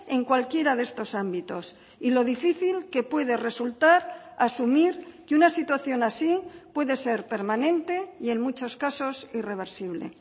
en cualquiera de estos ámbitos y lo difícil que puede resultar asumir que una situación así puede ser permanente y en muchos casos irreversible